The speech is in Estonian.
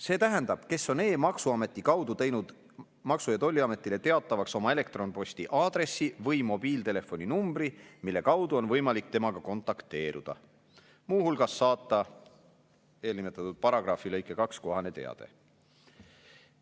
See tähendab, kes on e-maksuameti kaudu teinud Maksu- ja Tolliametile teatavaks oma elektronposti aadressi või mobiiltelefoni numbri, mille kaudu on võimalik temaga kontakteeruda, muu hulgas saata eelnimetatud paragrahvi lõike 2 kohane teade.